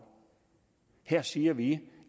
her siger vi